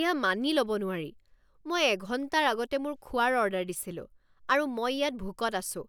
এয়া মানি ল'ব নোৱাৰি। মই এঘণ্টাৰ আগতে মোৰ খোৱাৰ অৰ্ডাৰ দিছিলো, আৰু মই ইয়াত ভোকত আছো।